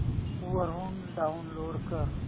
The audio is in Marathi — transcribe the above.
वरून डाऊनलोड कर